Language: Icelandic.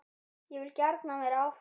Ég vil gjarnan vera áfram.